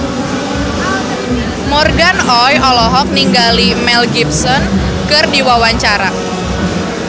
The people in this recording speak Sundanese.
Morgan Oey olohok ningali Mel Gibson keur diwawancara